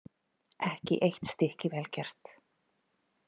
Ekki eitt stykki vel gert.